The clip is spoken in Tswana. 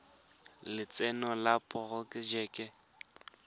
lotseno le diporojeke tsa go